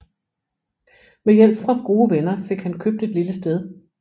Med hjælp fra gode venner fik han købt et lille sted